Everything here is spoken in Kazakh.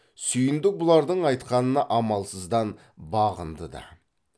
сүйіндік бұлардың айтқанына амалсыздан бағынды да